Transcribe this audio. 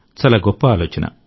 చాలా గొప్ప ఆలోచన